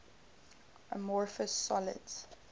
amorphous solids